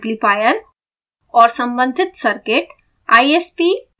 उपकरण एम्पलीफायर और सम्बंधित सर्किट